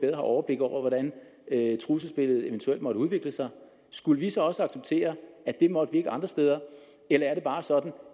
har overblik over hvordan trusselsbilledet eventuelt måtte udvikle sig skulle vi så også acceptere at det måtte vi ikke andre steder eller er det bare sådan